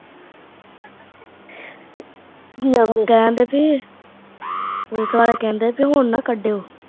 ਕਹਿਣ ਡੇ ਵੀ police ਵਾਲੇ ਕਹਿੰਦੇ ਵੀ ਹੁਣ ਨਾ ਕੱਢਿਓ